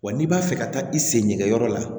Wa n'i b'a fɛ ka taa i sen ɲɛkɛyɔrɔ la